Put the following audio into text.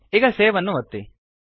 ಈಗ ಸೇವ್ ಅನ್ನು ಒತ್ತಿ